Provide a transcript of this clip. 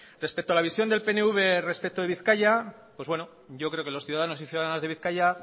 respecto a la visión del pnv respecto de bizkaia pues bueno yo creo que los ciudadanos y ciudadanas de bizkaia